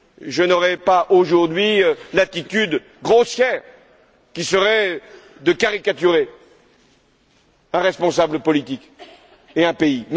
Je n'aurai donc pas, aujourd'hui, l'attitude grossière qui serait de caricaturer un responsable politique et un pays.